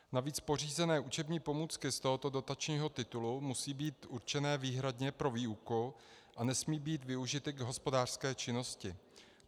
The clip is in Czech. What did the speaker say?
Navíc pořízené učební pomůcky z tohoto dotačního titulu musí být určené výhradně pro výuku a nesmí být využity k hospodářské činnosti.